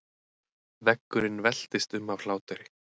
Veggurinn veltist um af hlátri.